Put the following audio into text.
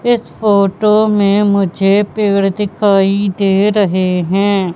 इस फोटो में मुझे पेड़ दिखाई दे रहे हैं।